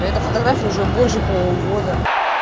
и эта фотография уже больше полугода